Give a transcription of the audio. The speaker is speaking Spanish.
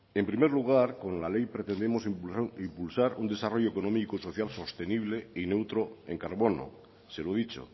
en primer lugar con la ley pretendemos impulsar un desarrollo económico y social sostenible y neutro en carbono se lo he dicho